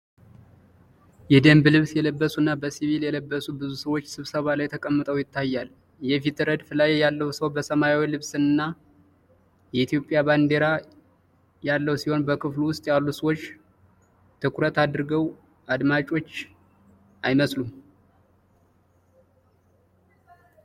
የደንብ ልብስ የለበሱና በሲቪል የለበሱ ብዙ ሰዎች ስብሰባ ላይ ተቀምጠው ያሳያል። የፊት ረድፍ ላይ ያለው ሰው በሰማያዊ ልብስና የኢትዮጵያ ባንዲራ ያለው ሲሆን፣ በክፍሉ ውስጥ ያሉ ሰዎች ትኩረት አድርገው አዳማጮች አይመስሉም?